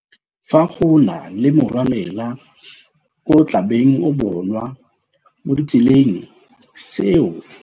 Fa go na le morwalela ko o tlabeng o bonwa mo ditseleng, seo.